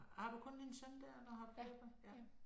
Har du kun din søn der eller har du flere børn?